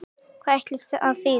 Hvað ætli það þýði?